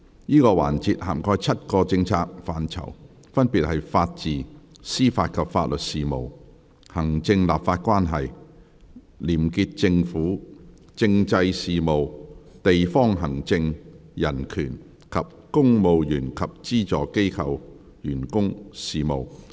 這個環節涵蓋7個政策範疇，分別是：法治、司法及法律事務；行政立法關係；廉潔政府；政制事務；地方行政；人權；及公務員及資助機構員工事務。